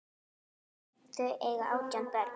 Þau eiga átján börn.